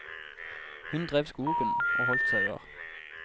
Hun drev skogen og holdt sauer.